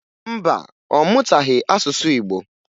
Mba, ọ mụtaghị asụsụ Igbo